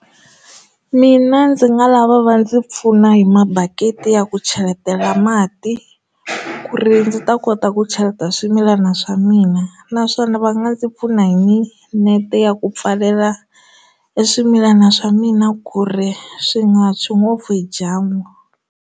Mina ndzi nga lava va ndzi pfuna hi mabaketi ya ku cheletela mati ku ri ndzi ta kota ku cheleta swimilana swa mina naswona va nga ndzi pfuna hi nete ku pfalela eswimilana swa mina ku ri swi nga tshwi ngopfu hi dyambu.